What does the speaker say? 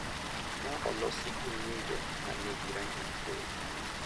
Ma olosi gi ng’injo ma nigi rangi mathoth,.